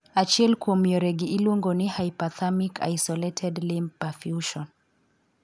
Achiel kuom yoregi iluongo ni 'hyperthermic isolated limb perfusion'.